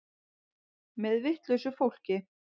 Með vitlausu fólki.